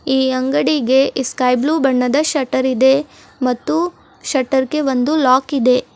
ಈ ಅಂಗಡಿಗೆ ಇ ಸ್ಕೈ ಬ್ಲೂ ಬಣ್ಣದ ಶೆಟರ್ ಇದೆ ಮತ್ತು ಶೆಟರ ಗೆ ಒಂದು ಲಾಕ್ ಇದೆ.